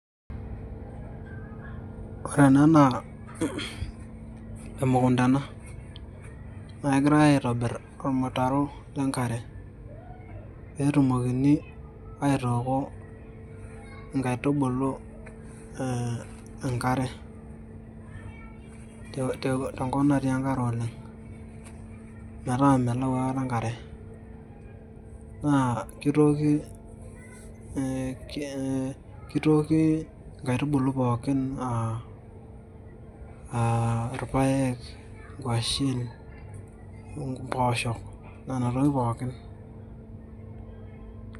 Ore naa emukunda ena naake egirai aitobir ormutaro le nkare pee etumokini aitooko nkaitubulu enkare tenkop natii enkare oleng' metaa melau aikata enkare. Naa kitooki nkaitubulu pookin a a irpaek, ng'washen, mboosho nena tokitin pookin.